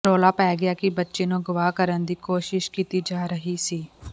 ਰੌਲਾ ਪੈ ਗਿਆ ਕਿ ਬੱਚੇ ਨੂੰ ਅਗਵਾ ਕਰਨ ਦੀ ਕੋਸ਼ਿਸ਼ ਕੀਤੀ ਜਾ ਰਹੀ ਸੀ